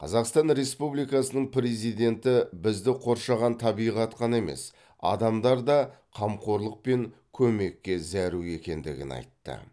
қазақстан республикасының президенті бізді қоршаған табиғат қана емес адамдар да қамқорлық пен көмекке зәру екендігін айтты